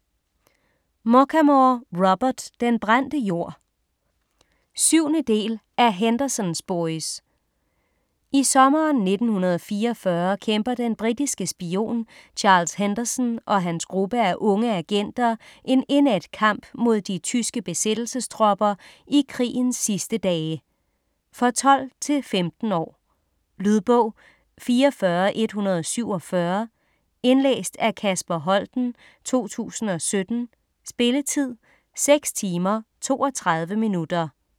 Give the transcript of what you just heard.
Muchamore, Robert: Den brændte jord 7. del af Henderson's boys. I sommeren 1944 kæmper den britiske spion Charles Henderson og hans gruppe af unge agenter en indædt kamp mod de tyske besættelsestropper i krigens sidste dage. For 12-15 år. Lydbog 44147 Indlæst af Kasper Holten, 2017. Spilletid: 6 timer, 32 minutter.